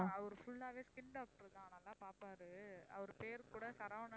அவரு full ஆவே skin doctor தான் நல்லா பாப்பாரு அவர் பேரு கூட சரவணன்